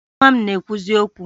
Nwa m na-ekwuzi okwu